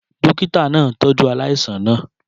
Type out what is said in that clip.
Dókítà náà ń tọ́jú aláìsàn náà